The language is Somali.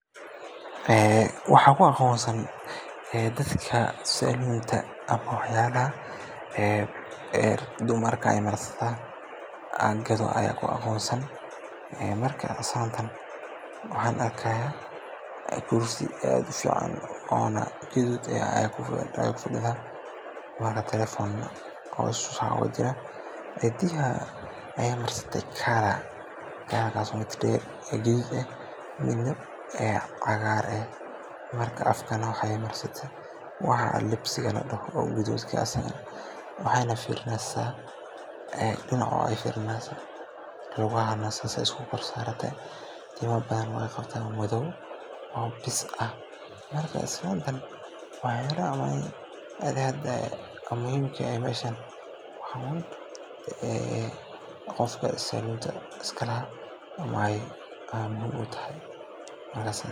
Ee waxaa lagu aqoonsan karaa dadka saloonta, ama waxyaalaha dumarku ay marsadaan ee la gado ayaa lagu garanayaa. Marka islaantan waxaan arkayaa inay ku jirto meel saloon ah, iyadoo adeegsanaysa waxyaabo qurxiyo wajiga ama timaha. Waxa kale oo agteeda yaalla alaabo badan sida rinjiga bushimaha, kareemada, iyo agabka timaha lagu qurxiyo. Waxay muujinaysaa in ay tahay qof adeegsanaya ama iibinaya alaabooyinkaas quruxda dumarka loogu talagalay. Meeshaan waxay u egtahay goob loogu adeegayo dumarka si ay u helaan adeegyada qurxinta iyo daryeelka jirka.